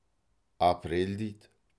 апрель дейді